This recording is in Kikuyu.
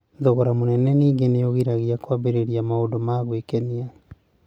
Thogora mũnene ningĩ nĩ ũgiragia kũambĩrĩria kwa maũndũ ma gwĩkenia.